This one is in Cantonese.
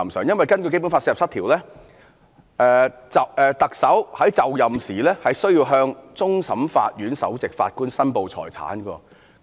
因為根據《基本法》第四十七條，行政長官就任時應向終審法院首席法官申報財產。